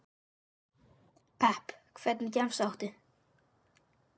pepp Hvernig gemsa áttu?